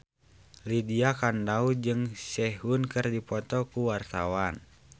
Lydia Kandou jeung Sehun keur dipoto ku wartawan